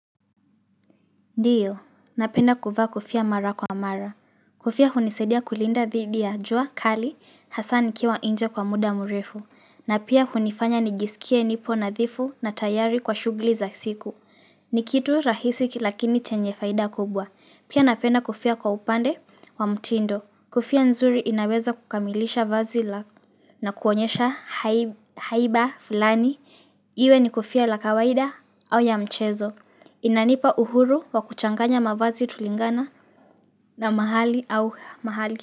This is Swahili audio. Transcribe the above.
Ndiyo, napenda kuvaa kofia mara kwa mara. Kofia hunisaidia kulinda dhidi ya jua kali hasa nikiwa nje kwa muda mrefu. Na pia hunifanya nijisikie nipo nadhifu na tayari kwa shughuli za siku. Ni kitu rahisi lakini chenye faida kubwa. Pia napenda kofia kwa upande wa mtindo. Kofia nzuri inaweza kukamilisha vazi lako na kuonyesha haiba fulani. Iwe ni kofia la kawaida au ya mchezo. Inanipa uhuru wa kuchanganya mavazi kulingana na mahali au mahali.